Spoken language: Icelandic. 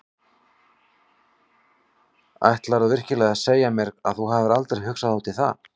Ætlarðu virkilega að segja mér að þú hafir aldrei hugsað út í það?